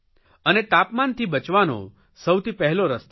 અને તાપમાનતી બચવાનો સૌથી પહેલો રસ્તો છે